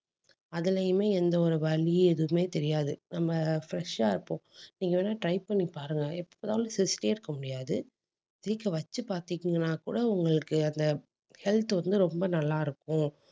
அதிலேயுமே எந்த ஒரு வலியும் எதுவுமே தெரியாது. நம்ம fresh ஆ இருப்போம் நீங்க வேணா try பண்ணி பாருங்க. எப்பனாலும் சிரிச்சிட்டே இருக்க முடியாது. சிரிக்க வச்சு பாத்தீங்கன்னா கூட உங்களுக்கு அந்த health வந்து ரொம்ப நல்லா இருக்கும்